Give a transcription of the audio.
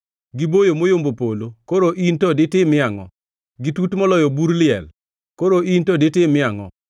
Giboyo moyombo polo, koro in to ditimie angʼo? Gitut moloyo bur liel; koro in to ditimie angʼo?